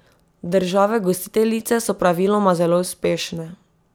Države gostiteljice so praviloma zelo uspešne.